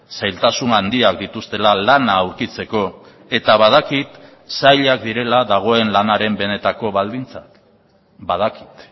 zailtasun handiak dituztela lana aurkitzeko eta badakit zailak direla dagoen lanaren benetako baldintzak badakit